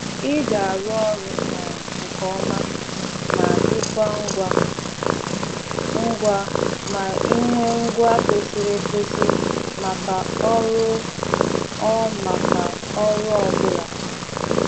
Ị ga-arụ ọrụ um nke ọma ma dịkwa ngwa ngwa ma ị nwee ngwa kwesịrị ekwesị maka ọrụ ọ maka ọrụ ọ bụla.